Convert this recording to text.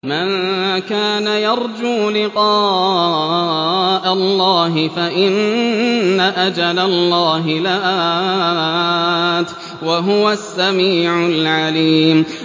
مَن كَانَ يَرْجُو لِقَاءَ اللَّهِ فَإِنَّ أَجَلَ اللَّهِ لَآتٍ ۚ وَهُوَ السَّمِيعُ الْعَلِيمُ